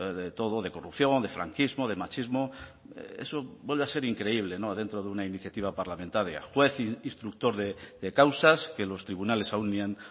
de todo de corrupción de franquismo de machismo eso vuelve a ser increíble dentro de una iniciativa parlamentaria juez instructor de causas que los tribunales aún ni han